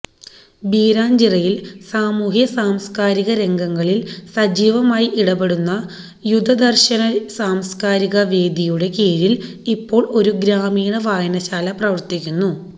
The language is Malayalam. ബീരാഞ്ചിറയിൽ സാമൂഹ്യസാംസ്കാരിക രംഗങ്ങളിൽ സജീവമായി ഇടപെടുന്ന യുദദർശന സാംസ്കാരിക വേദിയുടെ കീഴിൽ ഇപ്പോൾ ഒരു ഗ്രാമീണവായനശാല പ്രവർത്തിക്കുന്നു